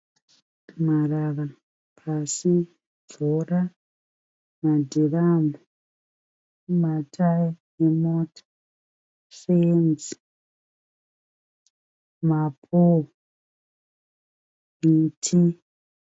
Marara pasi. Mvura, madhiramhu, matayi emota, fenzi, mapowo, muti.